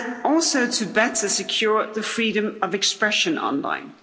Also, to better secure the freedom of expression online.